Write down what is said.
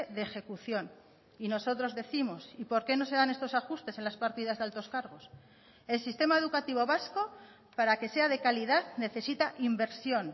de ejecución y nosotros décimos y por qué no se dan estos ajustes en las partidas de altos cargos el sistema educativo vasco para que sea de calidad necesita inversión